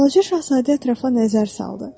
Balaca şahzadə ətrafa nəzər saldı.